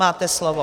Máte slovo.